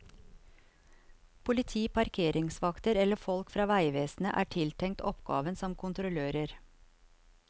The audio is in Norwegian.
Politi, parkeringsvakter eller folk fra veivesenet er tiltenkt oppgaven som kontrollører.